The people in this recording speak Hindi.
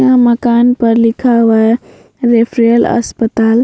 यहाँ मकान पर लिखा हुआ है रेफरल अस्पताल।